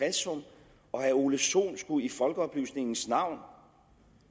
og herre ole sohn skulle i folkeoplysningens navn